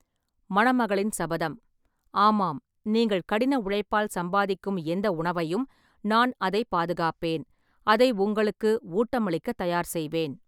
மணமகளின் சபதம்: ஆமாம், நீங்கள் கடின உழைப்பால் சம்பாதிக்கும் எந்த உணவையும், நான் அதைப் பாதுகாப்பேன், அதை உங்களுக்கு ஊட்டமளிக்க தயார் செய்வேன்.